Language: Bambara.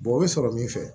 o bɛ sɔrɔ min fɛ